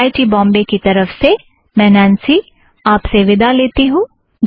IIT Bombay की तरफ़ से मैं नॆन्सी आप से विदा लेती हूँ